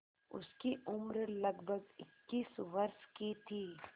उसकी उम्र लगभग इक्कीस वर्ष की थी